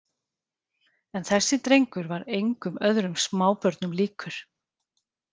En þessi drengur var engum öðrum smábörnum líkur.